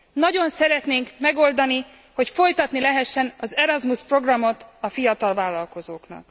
Nagyon szeretnénk megoldani, hogy folytatni lehessen az Erasmus programot a fiatal vállalkozóknak.